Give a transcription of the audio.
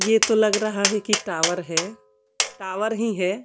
ये तो लग रहा है कि टावर है टावर ही है।